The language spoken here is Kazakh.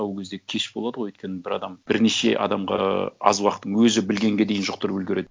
а ол кезде кеш болады ғой өйткені бір адам бірнеше адамға аз уақыттың өзі білгенге дейін жұқтырып үлгереді